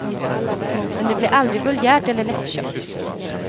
Men det blir aldrig vulgärt eller lättköpt.